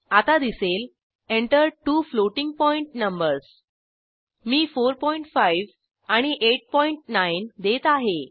आता दिसेल Enter two floating point numbers मी 45 आणि 89 देत आहे